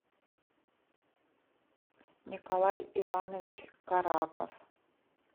николай иванович кораков